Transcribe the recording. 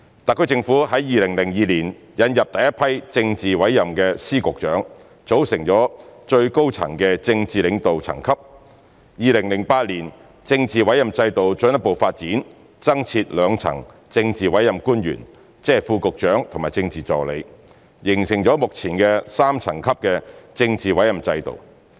特區政府在2002年引入第一批政治委任的司、局長，組成最高層的政治領導層級 ；2008 年政治委任制度進一步發展，增設兩層政治委任官員，即副局長和政治助理，形成目前的3層級的政治委任制度。